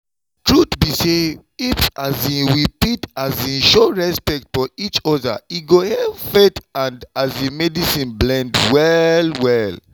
truth be say if um we fit um show respect for each other e go help faith and um medicine blend well well.